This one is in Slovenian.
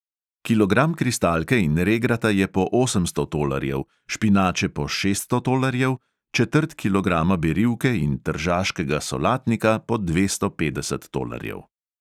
Kilogram kristalke in regrata je po osemsto tolarjev, špinače po šeststo tolarjev, četrt kilograma berivke in tržaškega solatnika po dvesto petdeset tolarjev.